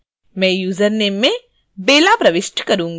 मैं यूजरनेम में bella प्रविष्ट करुँगी